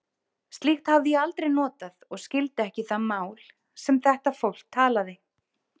Slíkt hafði ég aldrei notað og skildi ekki það mál, sem þetta fólk talaði.